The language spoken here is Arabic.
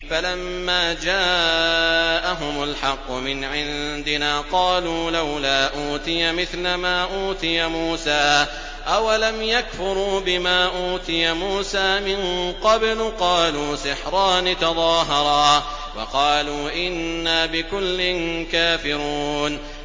فَلَمَّا جَاءَهُمُ الْحَقُّ مِنْ عِندِنَا قَالُوا لَوْلَا أُوتِيَ مِثْلَ مَا أُوتِيَ مُوسَىٰ ۚ أَوَلَمْ يَكْفُرُوا بِمَا أُوتِيَ مُوسَىٰ مِن قَبْلُ ۖ قَالُوا سِحْرَانِ تَظَاهَرَا وَقَالُوا إِنَّا بِكُلٍّ كَافِرُونَ